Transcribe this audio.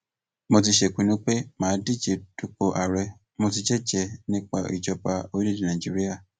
mo ti sèpinnu pé mà á díje dupò ààrẹ mò ti jẹjẹẹ nípa ìjọba orílẹèdè nàíjíríà